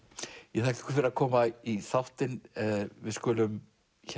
ég þakka ykkur fyrir að koma í þáttinn við skulum